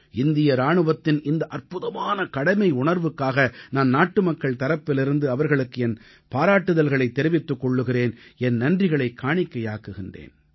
இந்திய இராணுவத்தின் இந்த அற்புதமான கடமையுணர்வுக்காக நான் நாட்டுமக்கள் தரப்பிலிருந்து அவர்களுக்கு என் பாராட்டுதல்களைத் தெரிவித்துக் கொள்கிறேன் என் நன்றிகளைக் காணிக்கையாக்குகிறேன்